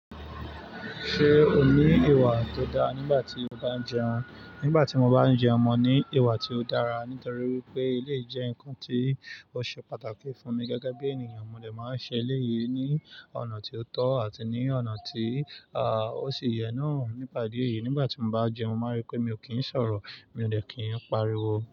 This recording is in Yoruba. Ṣé o ní ìwà tó dáa nígbà tí o bá ń jẹun? Nígbà tí mo bá ń jẹun, mo ní ìwà tí ó dára nítorí wípé eleyii jẹ́ nǹkan tí ó ṣe pàtàkì fún mi gẹ́gẹ́ bí ènìyàn, mo dè máa ń ṣe eléyìí ní ọ̀nà tí ó tọ́ àti ní ọ̀nà tí, à, ó ṣe yẹ náà. Nípa ìdí èyí, nígbà tí mo bá jẹun, máa rí pé mi ò kíń sọ̀rọ̀, mi ò lè kíń pariwo.